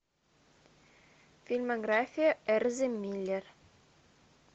фильмография эльзы миллер